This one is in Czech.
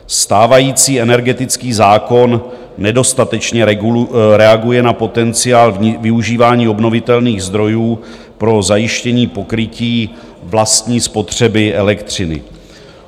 Stávající energetický zákon nedostatečně reaguje na potenciál využívání obnovitelných zdrojů pro zajištění pokrytí vlastní spotřeby elektřiny.